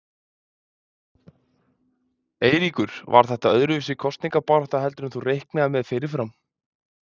Eiríkur: Var þetta öðruvísi kosningabarátta heldur en þú reiknaðir með fyrirfram?